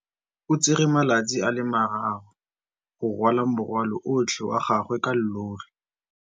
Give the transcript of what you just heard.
O tsere malatsi a le marraro go rwala morwalo otlhe wa gagwe ka llori.